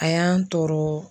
A y'an tɔɔrɔ.